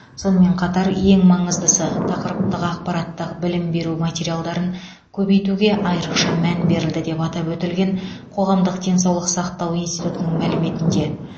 сонымен қатар ең маңыздысы тақырыптық ақпараттық білім беру материалдарын көбейтуге айрықша мән берілді деп атап өтілген қоғамдық денсаулық сақтау институтының мәліметінде